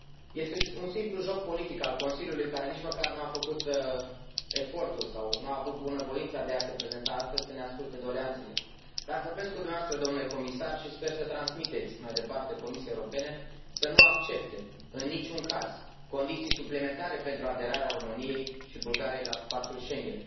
Este un simplu joc politic al Consiliului, care nici măcar nu a făcut efortul sau nu a avut bunăvoința de a se prezenta astăzi să ne asculte doleanțele, dar vorbesc cu dumneavoastră domnule comisar și sper să transmiteți mai departe Comisiei Europene să nu accepte, în nici un caz, condiții suplimentare pentru aderarea României și Bulgariei la Spațiul Schengen.